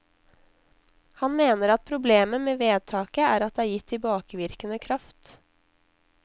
Han mener at problemet med vedtaket er at det er gitt tilbakevirkende kraft.